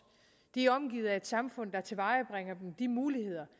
de er omgivet af et samfund der tilvejebringer de muligheder